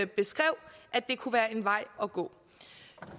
beskrev kunne være en vej at gå